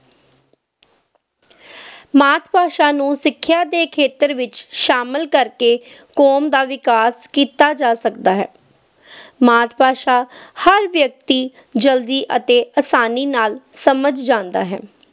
ਮਾਤ-ਭਾਸ਼ਾ ਨੂੰ ਸਿੱਖਿਆ ਦੇ ਖੇਤਰ ਵਿੱਚ ਸ਼ਾਮਲ ਕਰਕੇ ਕੌਮ ਦਾ ਵਿਕਾਸ ਕੀਤਾ ਜਾ ਸਕਦਾ ਹੈ ਮਾਤ-ਭਾਸ਼ਾ ਹਰ ਵਿਅਕਤੀ ਜਲਦੀ ਅਤੇ ਅਸਾਨੀ ਨਾਲ ਸਮਝ ਜਾਂਦਾ ਹੈ।